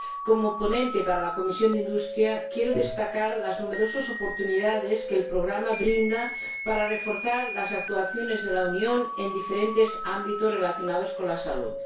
Como ponente de la Comisión de Industria Investigación y Energía, quiero destacar las numerosas oportunidades que el Programa brinda para reforzar las actuaciones de la Unión en diferentes ámbitos relacionados con la salud.